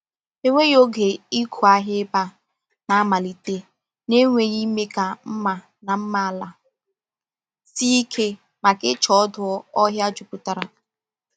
Enweghị oge ịkụ ahịa ebe a na-amalite na-enweghị ime ka mma na mma ala sie ike maka ịcha ọdụ ọhịa jupụtara.